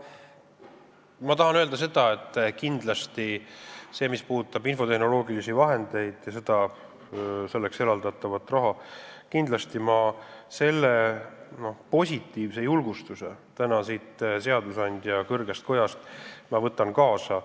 Ma tahan öelda seda, et mis puudutab infotehnoloogilisi vahendeid ja selleks eraldatavat raha, siis ma kindlasti võtan täna siit seadusandja kõrgest kojast kaasa selle julgustuse.